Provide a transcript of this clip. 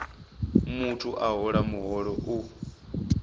muthu a hola muholo u